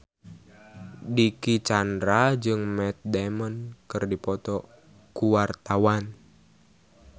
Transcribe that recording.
Dicky Chandra jeung Matt Damon keur dipoto ku wartawan